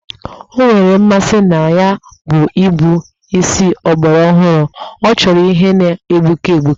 O nwere mmasị na ya bụ ịkpụ isi ọgbarọhụrụ, ọ chọrọ ihe na-egbuke egbuke